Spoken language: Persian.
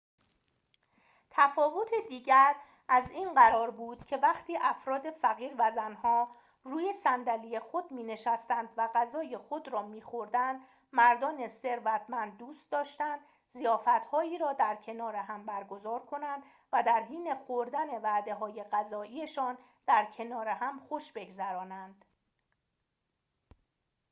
تفاوت دیگر از این قرار بود که وقتی افراد فقیر و زن‌ها روی صندلی خود می‌نشستند و غذای خود را می‌خوردند مردان ثروتمند دوست داشتند ضیافت‌هایی را در کنار هم برگزار کنند و در حین خوردن وعده‌های غذایی‌شان در کنار هم خوش بگذرانند